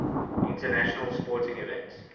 international sporting events